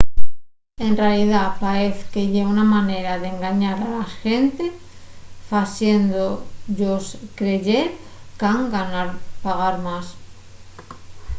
en realidá paez que ye una manera d’engañar a la xente faciéndo-yos creyer qu’han pagar más